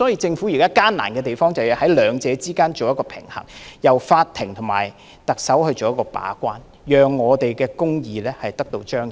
政府現在的難處是要在兩者之間取得平衡，由法庭和特首把關，讓公義得到彰顯。